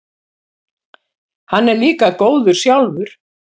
Hann er líka góður sjálfur.